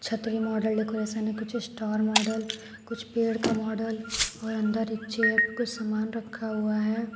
छतरी model decoration है कुछ स्टार मॉडल कुछ पेड का मॉडल और अंदर एक चेयर पे कुछ सामान रखा हुआ है।